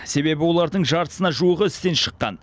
себебі олардың жартысына жуығы істен шыққан